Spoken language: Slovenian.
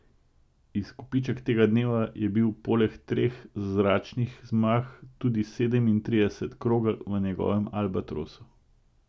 Izkupiček tega dneva je bil poleg treh zračnih zmag tudi sedemintrideset krogel v njegovem albatrosu.